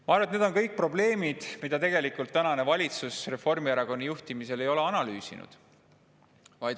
Ma arvan, et need on kõik probleemid, mida tegelikult tänane valitsus Reformierakonna juhtimisel ei analüüsinud.